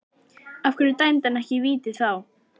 Af hverju dæmdi hann ekki víti þá?